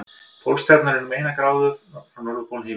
Pólstjarnan er um eina gráðu frá norðurpól himins.